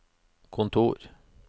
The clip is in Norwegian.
kontor